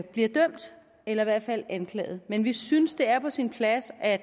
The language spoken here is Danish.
bliver dømt eller i hvert fald anklaget men vi synes at det er på sin plads at